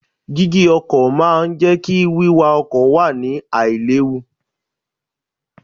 Dígí ọkọ̀ náà máa ń jẹ́ kí wíwa ọkọ̀ wà ní àì léwu.